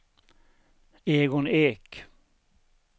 Egon Ek